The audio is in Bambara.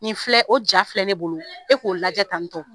Nin filɛ o ja filɛ e bolo, e k'o lajɛ tantɔ.